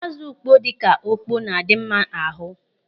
Ázụ̀ ukpoo dịka okpo na-adị mma ahụ.